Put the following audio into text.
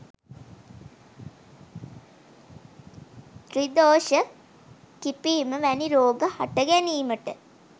ත්‍රිදෝෂ කිපීම වැනි රෝග හට ගැනීමට